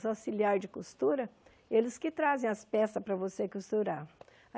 Os auxiliares de costura, eles que trazem as peças para você costurar.